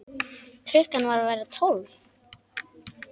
Klukkan var að verða tólf.